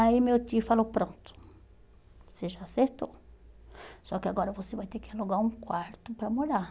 Aí meu tio falou, pronto, você já acertou, só que agora você vai ter que alugar um quarto para morar.